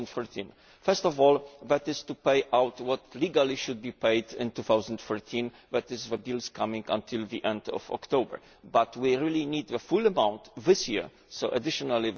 2013. First of all, that is to pay out what legally should be paid in 2013 and is for bills coming until the end of October, but we really need the full amount this year so an additional